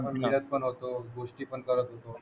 खंबीरच बनवतो गोष्टी पण करत होतो